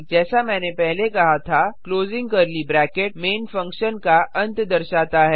जैसे मैंने पहले कहा था closing curly bracket main function का अंत दर्शाता है